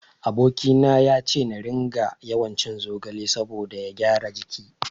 Aboki na yace na ringa yawancin zogale saboda ya gyara jiki.